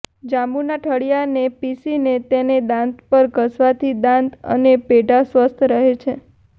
જાંબુના ઠળિયાને પીસીને તેને દાંત પર ઘસવાથી દાંત અને પેઢા સ્વસ્થ રહે છે